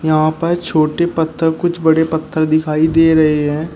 यहां पर छोटे पत्थर कुछ बड़े पत्थर दिखाई दे रहे हैं।